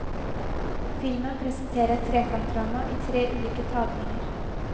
Filmen presenterer et trekantdrama, i tre ulike tagninger.